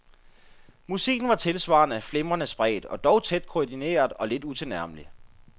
Musikken var tilsvarende flimrende spredt og dog tæt koordineret og lidt utilnærmelig.